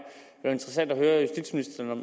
interessant at høre